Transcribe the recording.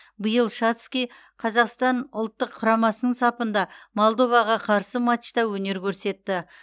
биыл шацкий қазақстан ұлттық құрамасының сапында молдоваға қарсы матчта өнер көрсетті